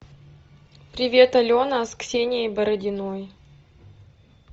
привет алена с ксенией бородиной